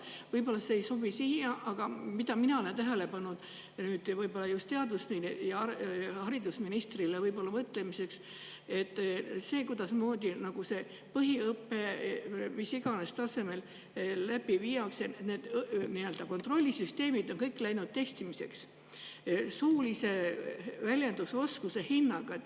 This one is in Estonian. Võib-olla see ei sobi siia, aga mina olen küll tähele pannud – nüüd just haridus‑ ja teadusministrile mõtlemiseks – selle puhul, kuidasmoodi põhiõpet mis iganes tasemel läbi viiakse, et kõik kontrollisüsteemid on läinud testimiseks suulise väljendusoskuse hinnaga.